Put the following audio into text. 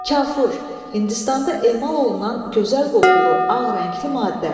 Kafur, Hindistanda emal olunan gözəl qoxulu, ağ rəngli maddə.